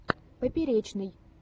поперечный